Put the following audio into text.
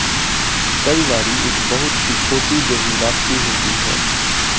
ਕਈ ਵਾਰੀ ਇੱਕ ਬਹੁਤ ਹੀ ਛੋਟੀ ਜਿਹੀ ਵਾਪਸੀ ਹੁੰਦੀ ਹੈ